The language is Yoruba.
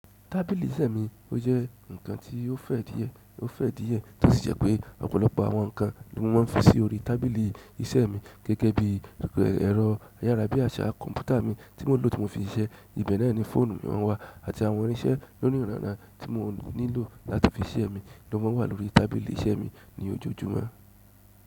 Tábìlì iṣẹ́ mi ó jẹ́ ǹkan tí ó fẹ̀ díẹ̀, ó fẹ̀ díẹ̀ tó sì jẹ́ pé ọ̀pọ̀lọpọ̀ àwọn ǹkan ni wọ́n má ń fi sí orí tábìlì iṣẹ́ mi gẹ́gẹ́ bí ẹ̀rọ ayára bí àṣá kọ̀ǹpútà mi tí mo lò ti mo fi ń ṣise, ibẹ̀ náà ni fóònù maa wà àti àwọn irinṣẹ́ lóniranran tí mo nílò láti fi ṣisẹ mi ló má ń wà lórí tábìlì iṣẹ́ mi ní ojoojúmọ́.